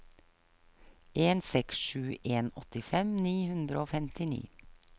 en seks sju en åttifem ni hundre og femtini